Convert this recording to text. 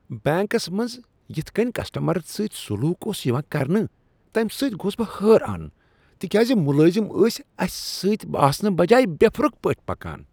Banks منٛز یتھ کنۍ کسٹمرن سۭتۍ سلوک اوس یوان کرنہٕ تمہ سۭتۍ گوس بہٕ حیران تکیازِ ملٲزم ٲسۍ اسہِ سۭتۍ آسنہٕ بجاے بے پھرُک پٲٹھی پکان۔